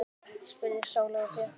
spurði Sóley Björk mig.